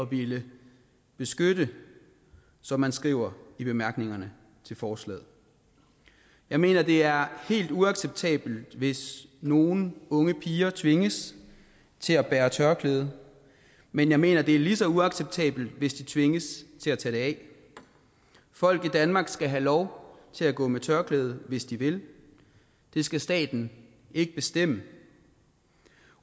ville beskytte som man skriver i bemærkningerne til forslaget jeg mener det er helt uacceptabelt hvis nogle unge piger tvinges til at bære tørklæde men jeg mener det er lige så uacceptabelt hvis de tvinges til at tage det af folk i danmark skal have lov til at gå med tørklæde hvis de vil det skal staten ikke bestemme